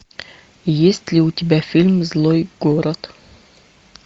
есть ли у тебя фильм злой город